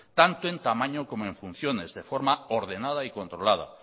tanto en tamaño como en funciones de forma ordenada y controlada